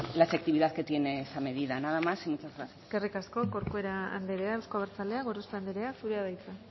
la efectividad que tiene esa medida nada más y muchas gracias eskerrik asko corcuera andrea euzko abertzaleak gorospe andrea zurea da hitza